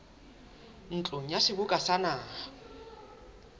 ntlong ya seboka sa naha